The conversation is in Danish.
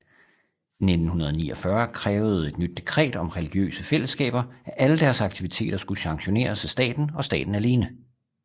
I 1949 krævede et nyt dekret om religiøse fællesskaber at alle deres aktiviteter skulle sanktioneres af staten og staten alene